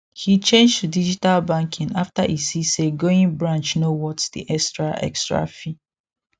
he change to digital banking after e see say going branch no worth the extra extra fee